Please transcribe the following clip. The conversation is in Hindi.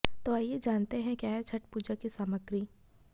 तो आइए जानते हैं क्या है छठ पूजा की सामग्री